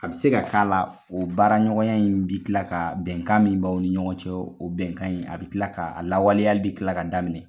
A bɛ se ka k'a la o baara ɲɔgɔnya in bɛ tila ka bɛnkan min bawaw ni ɲɔgɔn cɛ o bɛnkan in a bɛ tila ka o lawaleyali bɛ tila ka daminɛ.